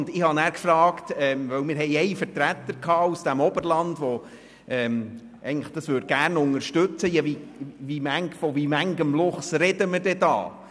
Ich habe danach gefragt, weil wir einen Vertreter aus dem Oberland hatten, der das gerne unterstützen möchte, von wie vielen Luchsen wir denn sprechen würden.